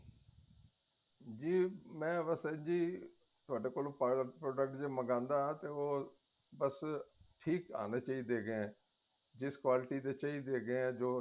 ਜ਼ੀ ਮੈ ਬੱਸ ਜ਼ੀ ਤੁਹਾਡੇ ਕੋਲ product ਜ਼ੇ ਮੰਗਾਦਾ ਤੇ ਉਹ ਬੱਸ ਠੀਕ ਆਨੇ ਚਾਹੀਦੇ ਏ ਇਸ quality ਦੇ ਚਹੀਦੇ ਹੈਗੇ ਏ ਜੋ